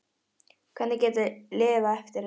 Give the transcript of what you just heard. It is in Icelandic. Hvernig get ég lifað eftir þetta?